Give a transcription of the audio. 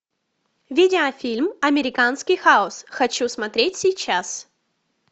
видеофильм американский хаос хочу смотреть сейчас